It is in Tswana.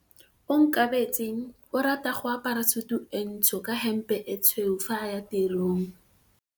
Onkabetse o rata go apara sutu e ntsho ka hempe e tshweu fa a ya tirong.